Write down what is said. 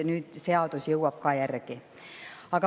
Nüüd see seadus jõuab sellele järele.